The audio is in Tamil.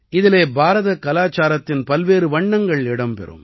இதிலே பாரதக் கலாச்சாரத்தின் பல்வேறு வண்ணங்கள் இடம் பெறும்